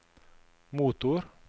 motor